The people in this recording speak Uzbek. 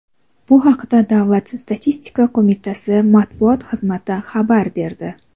Bu haqda Davlat statistika qo‘mitasi matbuot xizmati xabar berdi .